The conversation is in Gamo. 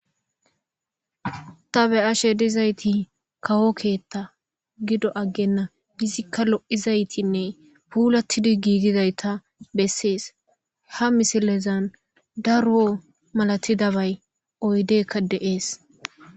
ta be ashe dizayti kawokkeetta gido aggenna hizikka lo7izaytinne puulatidi gigidayta bessees ha misilezan daro malati dabay oydekka deees